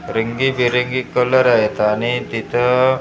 रंगीबेरंगी कलर आहेत आणि तिथं ऊंच ऊंच--